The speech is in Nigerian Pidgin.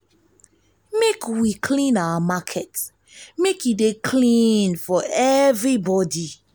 make we clean our market make e dey clean for everybody.